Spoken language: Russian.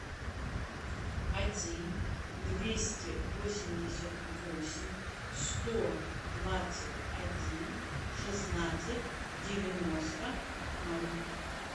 один двести восемьдесят восемь сто двадцать один шестнадцать девяносто ноль